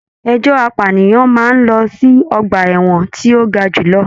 Ẹjọ apànìyàn máa n lọ sí ọgbà ẹwọn to ga jùlọ.